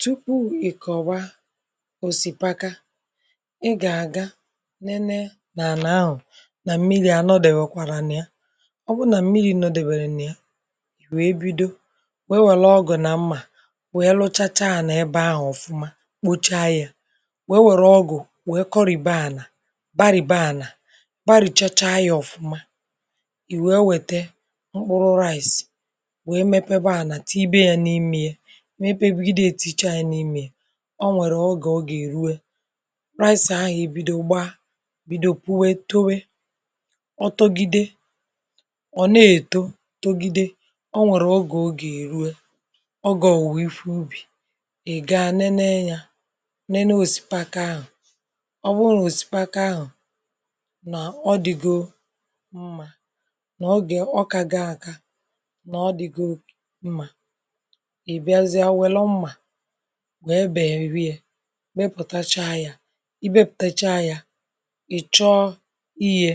tupu ị kọ̀wa òsìpaka, ị gà-àga nene, nà àna ahụ̀, nà mmiri, ànọdụ̀ e, wèkwàrà nà ya. ọ bụ nà mmiri, nọdụ̀ e, wèrè nà ya, wèe bido, wewèlụ ọgụ̀ nà mmà, wèe lụchacha ànọ̀ ebe ahụ̀. ọ̀fụma, kpocha yȧ, wewèrụ ọgụ̀, wèe kọrị̀bė ànà, barìbè ànà, barìchacha yȧ, ọ̀fụma. i wèe wète ụkpụrụ rice, wèe mepebe ànà, tibia ya n’imi, na epebiga etu iche, anyị n’ime ya. o nwèrè ogè, ọ gà èrue rice ahụ̀, bido gbaa, bido pụ̀we, towe. ọ togide, ọ̀ na-èto, togide. ọ nwèrè ogè, ọ gà èrue, ọ gà, ọ wụ̀ ifu ubì. ị̀ ga nenee ya, nenee osìpaka ahụ̀. ọ bụrụ nà osìpaka ahụ̀, nà ọ dị̀ goo mmà, nà ogè, ọ kago, aka nà ọ dị̀ goo mmà, wee bèrị yȧ, mepụ̀tacha yȧ. i bepụ̀tacha yȧ, ị̀ chọọ iyė,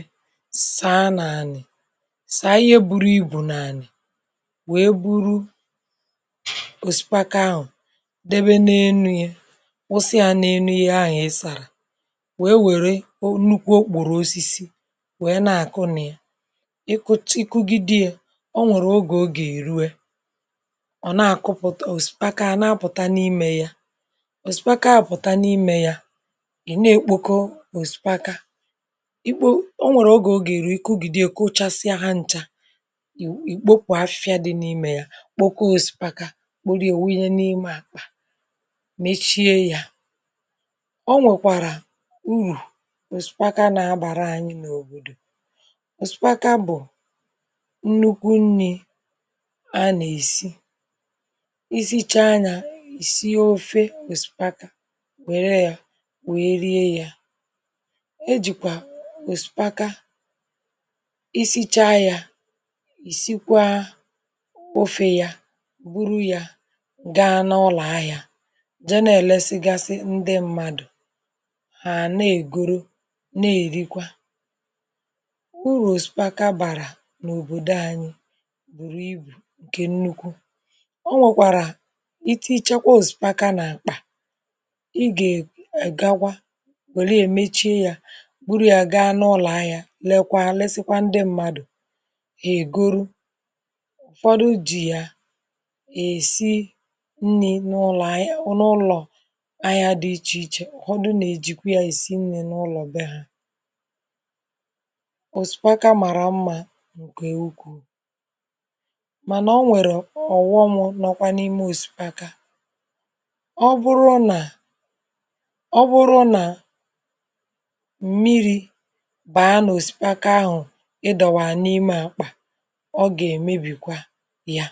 sàa n’ànị̀, sàa ihe, buru ibù n’ànị̀, wee buru òsikwa, kaa ahụ̀, debe n’enu yȧ, ọsịa n’enu yȧ. ȧhụ̀ ị sàrà, wee wère nnukwu okpòrò osisi, wee na-àkụ nà ya, ị kụta iku gị dị yȧ. ọ nwèrè ogè, o gà-èri, wee ọ̀ zùkwaka, à nà-apụ̀ta n’imė yȧ. òsùkwaka à, nà-apụ̀ta n’imė yȧ, è na-èkpoko n’òsùkwaka ikpo. ọ nwèrè ogè, èrụ̀ ike, ogìdè, kụchasịa ha ǹta, ì kpopù afịa dị n’imė yȧ. kpoko òsùkwaka, kpòrò yà, òwunye n’ime àkpà, mechie yȧ. ọ nwèkwàrà unyù, zùkwaka nà-agbàra ànyị, n’òbòdò. òsùkwaka bụ̀ nnukwu nni̇, a nà-èsi, isi ofė osìpaka, wère ya, wère rie ya. ejìkwà osìpaka, isi̇cha yȧ, ìsikwa mpofe yȧ, gburu yȧ, gaa n’ụlọ̀ ahịȧ. janel sịgasị, ndị mmadụ̀ hàna ègoro, na-èrikwa. bùrù osìpaka, bàrà n’òbòdò anyị, gbùrù ibù ǹkè nnukwu. ị gà-ègagwa, wèlụ ya, èmeche ya, gburu ya, gaa n’ụlọ̀ ahịa, lèkwa, lesịkwa, ndị mmadù ègoro. ọ̀tụtụ jì ya, èsi nni̇ n’ụlọ̀ ahịa dị ichè ichè. ọ̀tụtụ nà-èjikwa ya, èsi nni̇ n’ụlọ̀ dị ha. òsikapa, màrà mmȧ ǹkè ukwuu. ọ bụrụ nà, ọ bụrụ nà mmiri̇ bàa n’osipakọ ahụ̀, ịdọ̀wà n’ime àkpà, ọ gà-èmebìkwa ya.